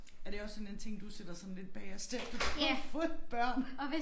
Er det også sådan en ting du sætter sådan lidt bagerst efter du har fået børn?